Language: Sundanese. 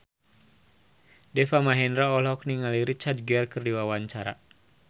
Deva Mahendra olohok ningali Richard Gere keur diwawancara